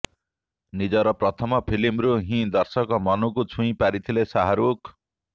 ନିଜର ପ୍ରଥମ ଫିଲ୍ମରୁ ହିଁ ଦର୍ଶକଙ୍କ ମନକୁ ଛୁଇଁ ପାରିଥିଲେ ଶାହାରୁଖ